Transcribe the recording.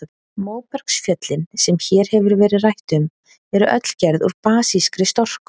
Móbergsfjöllin, sem hér hefur verið rætt um, eru öll gerð úr basískri storku.